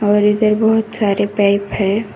और इधर बहुत सारे पाइप है।